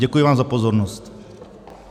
Děkuji vám za pozornost.